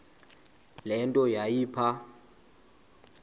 le nto yayipha